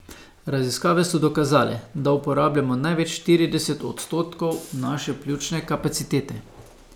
Raziskave so dokazale, da uporabljamo največ štirideset odstotkov naše pljučne kapacitete!